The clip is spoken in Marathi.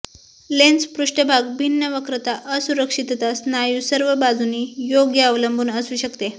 लेन्स पृष्ठभाग भिन्न वक्रता असुरक्षितता स्नायू सर्व बाजूंनी योग्य अवलंबून असू शकते